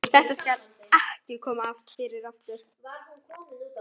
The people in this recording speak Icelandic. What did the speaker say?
Þetta skal ekki koma fyrir aftur.